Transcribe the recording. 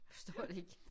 Forstår det ikke